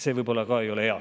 See võib-olla ei ole ka hea.